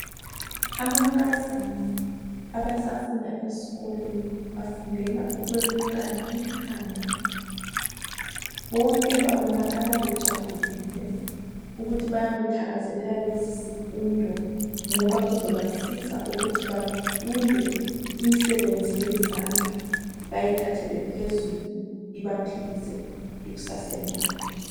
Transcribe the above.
Amankazana abasafunda esikolweni, bafundela ukwelukana ikhanda. Bonke bababonakala bejabulile, ukuthi bayakuthakazelela lesisifundo, ngoba kuzobasiza ukuthi bafunde imisebenzi yezandla, bayithathele phezulu ibaphilise ekusaseni labo.